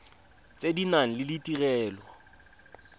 tse di nang le ditirelo